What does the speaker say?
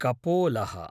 कपोलः